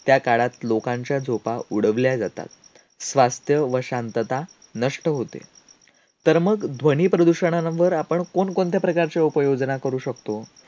त्याकाळात लोकांच्या झोपा उडवल्या जातात. स्वास्थ्य व शांतता नष्ट होते. तर मग ध्वनी प्रदूषणांवर आपण कोणकोणत्या प्रकारचे उपाययोजना करू शकतो?